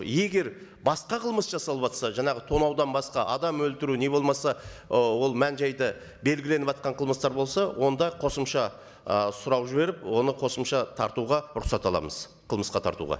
егер басқа қылмыс жасалыватса жаңағы тонаудан басқа адам өлтіру не болмаса ы ол мән жайды белгіленіватқан қылмыстар болса онда қосымша ы сұрау жіберіп оны қосымша тартуға рұқсат аламыз қылмысқа тартуға